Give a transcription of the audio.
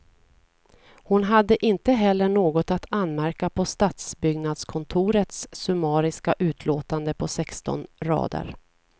Hon hade inte heller något att anmärka på stadsbyggnadskontorets summariska utlåtande på sexton rader.